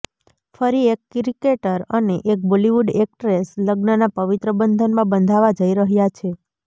ફરી એક ક્રિકેટર અને એક બોલીવૂડ એક્ટ્રેસ લગ્નના પવિત્ર બંધનમાં બંધાવા જઈ રહ્યા છે